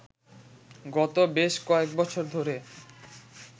গত বেশ কয়েকবছর ধরে